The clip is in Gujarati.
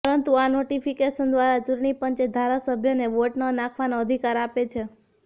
પરંતુ આ નોટિફિકેશન દ્વારા ચૂંટણી પંચે ધારાસભ્યને વોટ ન નાંખવાનો અધિકાર આપે છે